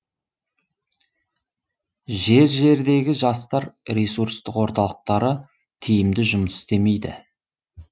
жер жердегі жастар ресурстық орталықтары тиімді жұмыс істемейді